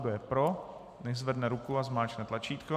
Kdo je pro, nechť zvedne ruku a zmáčkne tlačítko.